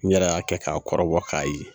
N yɛrɛ y'a kɛ k'a kɔrɔbɔ k'a ye.